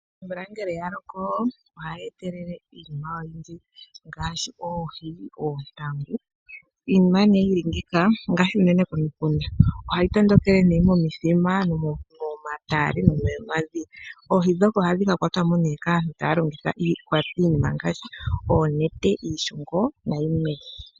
Omvula ngele yaloko ohayi etelele iinima oyindji ngaashi oohi. Omatale ngele guudha oohi ohadhi tondokelemo wo pamwe nomvula. Aantu ohaya yuulamo oohi ndhika taya longitha ooneno, ooshungu.